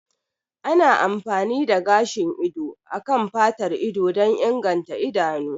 Ana amfani da gashin ido a kan fatar ido don inganta idanu